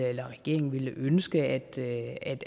eller regeringen ville ønske